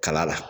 Kala la